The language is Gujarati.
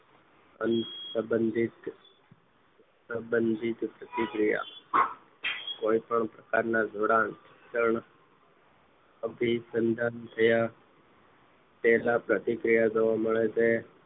અન્સંબધીત પ્રતિકિયા કોઈ પણ પ્રકાર ના જોડાણ ક્ષન અભીસંધાન થયા તેના પ્રતિક્રિયા જોવા મળે છે